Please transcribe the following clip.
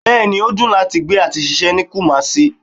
Bẹẹni, o dùn láti gbé àti ṣiṣẹ́ ní Kumasi